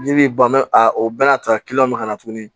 Ji bi ban a o bɛɛ n'a ta bɛ ka na tuguni